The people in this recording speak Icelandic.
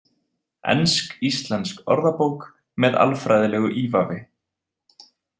Ensk-íslensk orðabók með alfræðilegu ívafi.